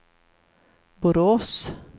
Borås